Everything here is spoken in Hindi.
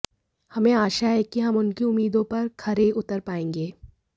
हमें आशा है कि हम उनकी उम्मीदों पर खरे उतर पाएंगे